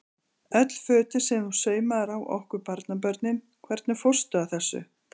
Öll fötin sem þú saumaðir á okkur barnabörnin, hvernig fórstu að þessu?